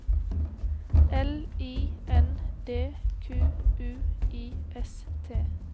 L I N D Q U I S T